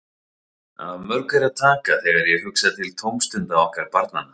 Af mörgu er að taka þegar ég hugsa til tómstunda okkar barnanna.